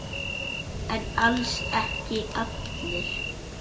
En alls ekki allir.